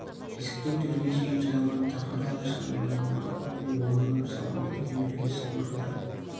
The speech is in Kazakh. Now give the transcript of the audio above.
есіктен төрге шейін жайылған тақыр алаша манат мақпал мен оюлап сырған үлкен-үлкен сырмақтар